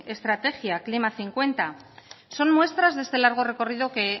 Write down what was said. estrategia klima dos mil cincuenta son muestras de este largo recorrido que